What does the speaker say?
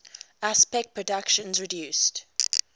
aspect productions produced